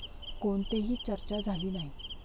कोणतेही चर्चा झाली नाही.